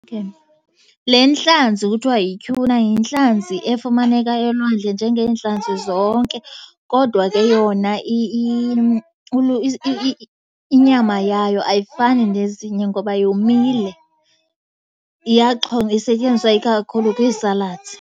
Le ntlanzi kuthiwa yityhuna yintlanzi efumaneka elwandle njengeentlanzi zonke, kodwa ke yona inyama yayo ayifani nezinye ngoba yomile. Iyaxhonywa, isetyenziswa ikakhulu kwii-salads.